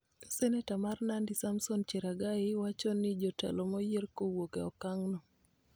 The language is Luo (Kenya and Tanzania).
Senata mar Nandi Samson Cherargei wacho ni jotelo moyier kowuok e okang'no